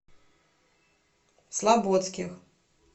слабодских